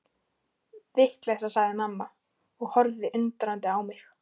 Vitleysa sagði mamma og horfði undrandi á mig.